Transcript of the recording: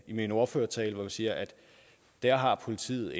i min ordførertale vi siger at der har politiet